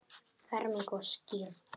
Ferming og skírn.